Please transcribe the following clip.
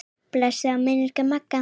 Blessuð sé minning Magga.